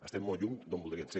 estem molt lluny d’on voldríem ser